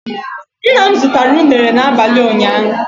Ńnà mụ zụtara unere na abalị ụnyaahụ